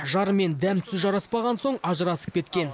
жарымен дәм тұзы жараспаған соң ажырасып кеткен